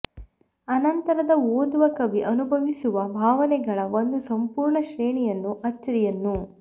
ಅನಂತರದ ಓದುವ ಕವಿ ಅನುಭವಿಸುವ ಭಾವನೆಗಳ ಒಂದು ಸಂಪೂರ್ಣ ಶ್ರೇಣಿಯನ್ನು ಅಚ್ಚರಿಯನ್ನು